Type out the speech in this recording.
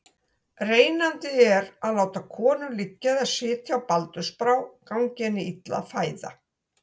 Reynandi er að láta konu liggja eða sitja á baldursbrá gangi henni illa að fæða.